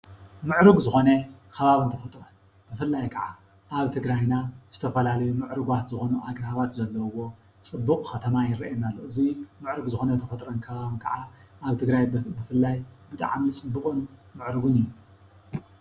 ምዕሩግ ዝኾነ ከባቢ ብፍላይ ካዓ አብ ትግራይና ዝተፈላለዩ ምዕሩጋት ዝኮኑ አግራባት ዘለውዎ ፅቡቅ ዝኮነ ማይ ይረአየና አሎ፡፡ እዚ ምዕሩግ ዝኮነ ቦታ ከዓ አብ ትግራይ ብፍላይ ብጣዕሚ ፅቡቅን ምዕሩግን እዩ፡፡